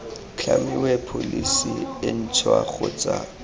tlhamiwe pholesi e ntšhwa kgotsa